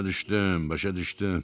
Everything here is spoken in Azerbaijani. Başa düşdüm, başa düşdüm.